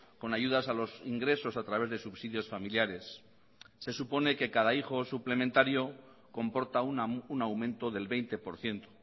con ayudas a los ingresos a través de subsidios familiares se supone que cada hijo suplementario comporta un aumento del veinte por ciento